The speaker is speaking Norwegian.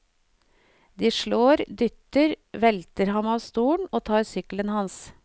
De slår, dytter, velter ham av stolen og tar sykkelen hans.